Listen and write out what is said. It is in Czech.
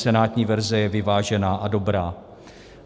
Senátní verze je vyvážená a dobrá.